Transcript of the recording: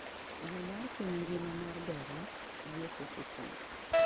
yo mar piny ngima mar bero yepo skunde